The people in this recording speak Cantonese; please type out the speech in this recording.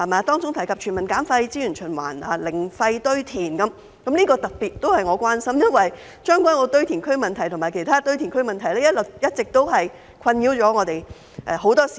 當中提及全民減廢、資源循環及零廢堆填，這些都是我特別關心的，因為將軍澳堆填區及其他堆填區的問題一直困擾很多市民。